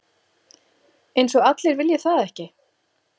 Eins og allir vilji það ekki?